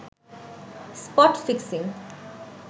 spot fixing